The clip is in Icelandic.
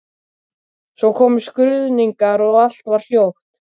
Svo komu skruðningar og allt varð hljótt.